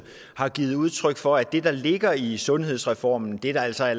har givet udtryk for at det der ligger i sundhedsreformen det der altså